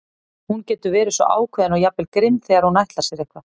Hún getur verið svo ákveðin og jafnvel grimm þegar hún ætlar sér eitthvað.